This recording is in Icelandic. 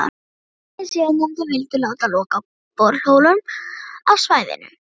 Hinir síðarnefndu vildu láta loka borholum á svæðinu.